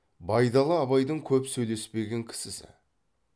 байдалы абайдың көп сөйлеспеген кісісі